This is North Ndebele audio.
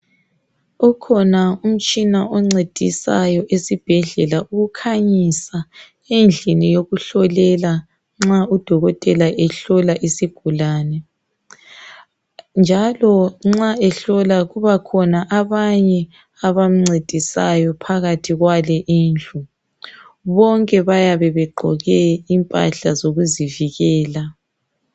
Ukhona umtshina oncedisayo esibhedlela ukukhanyisa endlini yokuhlolela, nxa udokotela ehlola isigulani. Njalo nxa ehlola kuba khona abanye abamncedisayo phakathi kwale indlu. Bonke bayabe begqoke impahla zokuzivikela.